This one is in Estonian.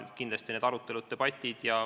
Kindlasti on siin arutelud, debatid.